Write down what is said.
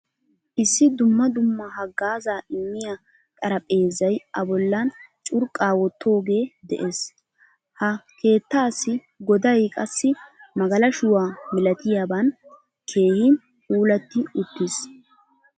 Issi dumma dumma haggaaza immiya xaraphphezzay a bollan curqqa wottoge de'ees. Ha keettasi goday qassi magalashuwaa milatiyaban keehin puulati uttiis.